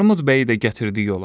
Armud bəyi də gətirdi yola.